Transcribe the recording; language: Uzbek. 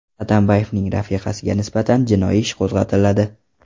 Atambayevning rafiqasiga nisbatan jinoiy ish qo‘zg‘atiladi.